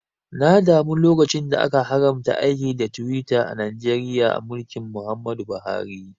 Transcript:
Na damu lokacin da aka haramta aiki da Twitter a Najeriya a mulkin Muhammad Buhari